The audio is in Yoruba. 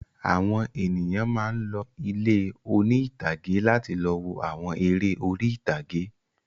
Àwọn ènìyàn máa ń lọ ilé oní-ìtàgé láti lọ wo àwọn eré orí-ìtàgé.